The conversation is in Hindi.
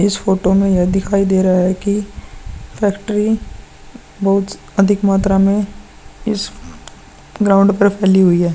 इस फोटो में यह दिखाई दे रहा है की फैक्ट्री बहुत अधिक मात्रा में इस ग्राउंड पर फैली हुई है।